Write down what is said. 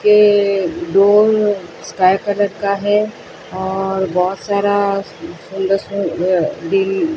ये door sky colour का है और बहुत सारा सुंदर भी --